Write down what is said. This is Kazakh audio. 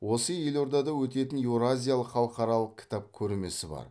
осы елордада өтетін еуразиялық халықаралық кітап көрмесі бар